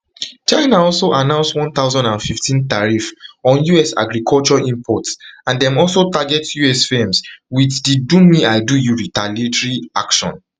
china also announce one thousand and fifteen tariff on us agriculture imports and dey also target us firms with di domeidoyou retaliatory action